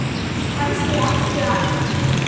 Kannski ertu hann?